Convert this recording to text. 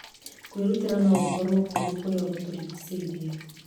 Kwĩrutĩra no gũkorũo kũrĩ kũrĩa gũtũũrigicĩirie.